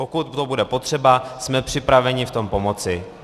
Pokud to bude potřeba, jsme připraveni v tom pomoci.